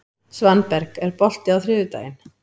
Svanberg, er bolti á þriðjudaginn?